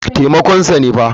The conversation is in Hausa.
Taimakon sa ne fa.